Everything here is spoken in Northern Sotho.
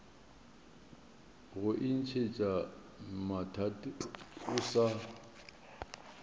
go itsentšha mathateng o sa